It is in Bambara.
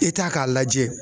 k'a lajɛ.